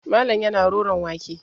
Malam yana roron wake.